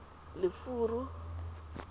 lefuru